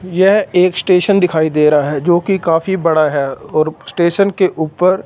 यह एक स्टेशन दिखाई दे रहा है जोकि काफी बड़ा है और स्टेशन के ऊपर--